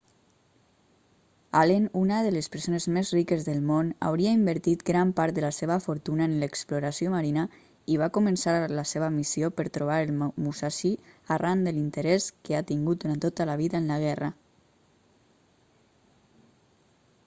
allen una de les persones més riques del món hauria invertit gran part de la seva fortuna en l'exploració marina i va començar la seva missió per trobar el musashi arran de l'interès que ha tingut durant tota la vida en la guerra